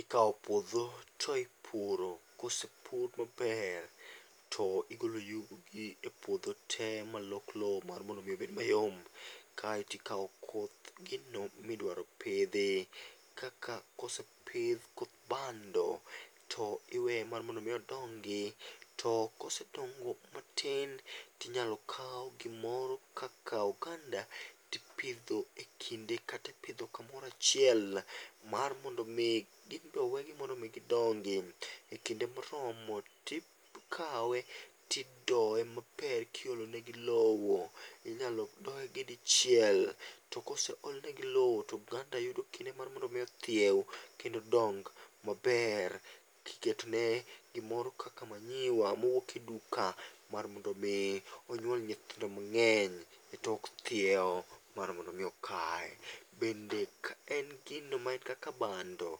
ikawo puotho to ipuro kose pur maber, to igolo yugi e puotho te malok lowo mar mondo mi obed mayom kaeto ikawo koth gino ma idwaro pithi kaka kosepithi koth bando to iweye mar mondo mi odongi to kosedongo matin to inyalo kau gimoro kaka oganda to ipitho e kinde kata ipitho kamoro achiel mar mondo mi ibrowegi mar mondo mi gidongi e kinde moromo tikawe tidoye maber kiolonegi lowo, inyalo dogi dichiel to kose olnegi lowo to oganda yudo kinde mar mondo ithiewu kendo dong' maber kiketone gimoro kaka manyiwa mouk e duka mar mondo mi onyuol nyithindo mange'ny e tok thiewo mar mondo omi okaye, bende ka en gino ma kaka bando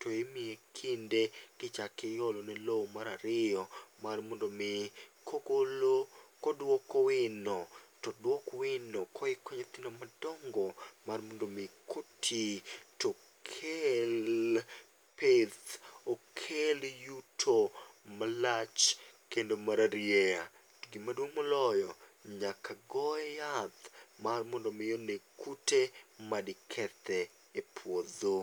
timiye kinde to tichako iyolone lowo mar ariyo mar mondo mi kogolo koduoko wino to odwuok wino kohiko nyithindo mar mondo mi koti tokel pith, okel yuto malach kendo mararieya to maduong' moloyo nyaka goye yath mar mondo mi oneg kute madikethe e puotho